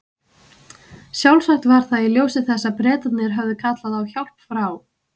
Sjálfsagt var það í ljósi þessa að Bretarnir höfðu kallað á hjálp frá